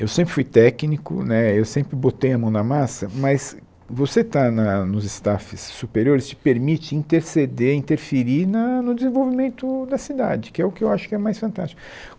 Eu sempre fui técnico, né eu sempre botei a mão na massa, mas você estar na nos staffs superiores te permite interceder, interferir na no desenvolvimento da cidade, que é o que eu acho que é mais fantástico.